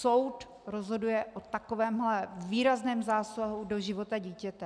Soud rozhoduje o takovémhle výrazném zásahu do života dítěte.